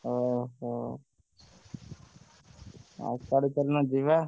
ଓହୋ! ଆଉ କାଲି ଚାଲୁନ ଯିବା?